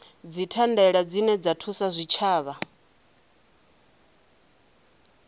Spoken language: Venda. dzithandela dzine dza thusa zwitshavha